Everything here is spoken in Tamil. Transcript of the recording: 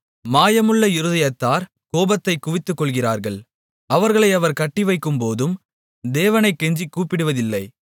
மாயமுள்ள இருதயத்தார் கோபத்தைக் குவித்துக்கொள்ளுகிறார்கள் அவர்களை அவர் கட்டிவைக்கும்போதும் தேவனைக் கெஞ்சிக் கூப்பிடுவதில்லை